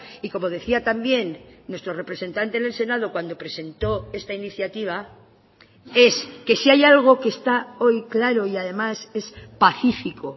y como decía también nuestro representante en el senado cuando presentó esta iniciativa es que si hay algo que está hoy claro y además es pacífico